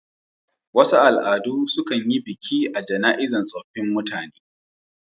Wasu al'adu sukan yi biki a jana'izan tsofin mutne